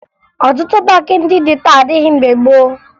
Ọtụtụ paakị ndị dị taa adịghị mgbe gboo